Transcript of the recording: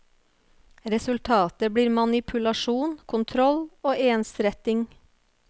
Resultatet blir manipulasjon, kontroll og ensretting.